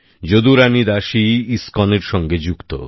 যদুরানী দাসী ইস্কনের সঙ্গে যুক্ত